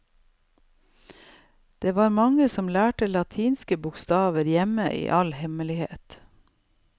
Det var mange som lærte latinske bokstaver hjemme i all hemmelighet.